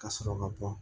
Ka sɔrɔ ka bɔ